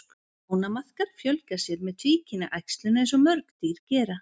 Ánamaðkar fjölga sér með tvíkynja æxlun eins og mörg dýr gera.